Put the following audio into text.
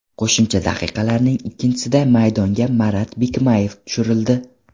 Qo‘shimcha daqiqalarning ikkinchisida maydonga Marat Bikmayev tushirildi.